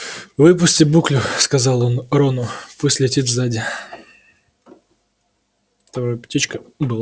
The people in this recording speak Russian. выпусти буклю сказал он рону пусть летит сзади